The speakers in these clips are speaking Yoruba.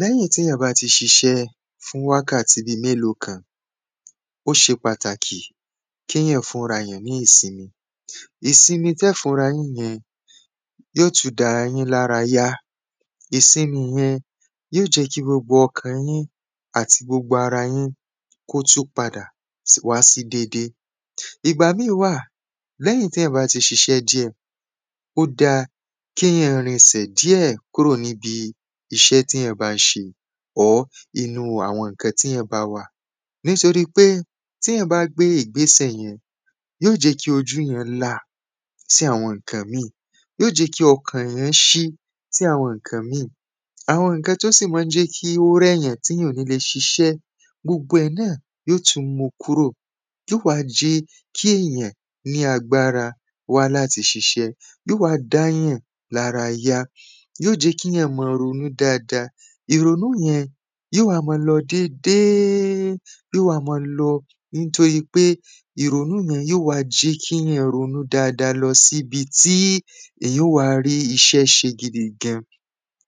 Lẹ́yìn èyàn bá ti ṣiṣẹ́ fún wákàtí bíi mélò kan Ó ṣe pàtàkì ki èyàn fún ara èyàn ní ìsimi Ìsimi tí ẹ óò fún ara yín yen yóò tún dá ara yín ní ara ya Ìsimi yẹn yóò jẹ kí gbogbo ọkàn yín àti gbogbo ara yín kí ó tún padà wá sí dédé Ìgbà míì wà lẹ́yìn tí èyàn bá ti ṣiṣé díẹ̀ Ó dáa kí èyàn rin ẹsẹ̀ díẹ̀ kúrò ní ibi iṣẹ́ èyàn bá ń ṣe Or inú àwọn nǹkan tí èyàn bá wà Nítorípé ti èyàn bá gbé ìgbésẹ̀ yẹn yóò jẹ́ kí ojú èyàn là sí àwọn nǹkan mìí Yóò jẹ kí ọ̀kàn èyàn ṣí sí àwọn nǹkan mìí Àwọn nǹkan tí ó sì ma ń jẹ kí ó rẹ̀ èyàn tí èyàn ò ní lè ṣiṣẹ́ gbogbo ẹ̀ náà yóò tún mu kúrò Yóò jẹ kí ọ̀kàn èyàn ṣí sí àwọn nǹkan mìí Yóò wá jẹ́ kí èyàn ní agbára wá láti ṣiṣé Yóò jẹ́ ki èyàn máa ronú dáadáa Ìrònú yẹn yóò wá máa lọ dédé yóò wá máa lọ Nítorípé ìrònú yẹn yóò wá jẹ́ kí èyàn ronú dáadáa lọ sí ibi tí èyàn óò wá rí iṣẹ́ ṣe gidigan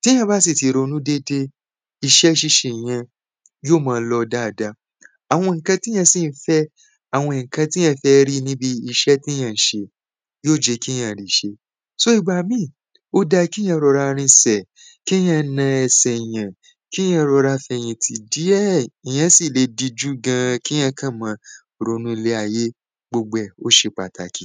Tí èyàn bá sì ti ronú déédé iṣẹ́ ṣíṣe yẹn yóò ma lọ dáadáa Àwọn nǹkan tí èyàn sì ń fẹ́ àwọn nǹkan tí èyàn fẹ́ rí ní ibi iṣẹ́ tí èyàn ń ṣe yóò jẹ́ kí èyàn ri ṣe So ìgbà míì ó da kí èyàn rọra rìnsẹ̀ Kí èyàn nà ẹsẹ̀ èyàn Kí èyàn rọra fi ẹ̀yìn tì díẹ̀ Èyàn sì lè dijú gan kí èyàn kàn máa ronú ilé ayé gbogbo ẹ̀ ó ṣe pàtàkì